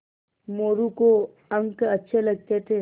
मोरू को अंक अच्छे लगते थे